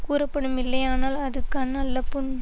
கூறப்படும் இல்லையானால் அது கண் அல்ல புண்